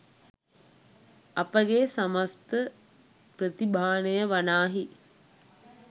අපගේ සමස්ත ප්‍රතිභානය වනාහි